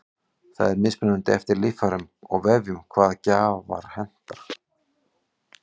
það er mismunandi eftir líffærum og vefjum hvaða gjafar henta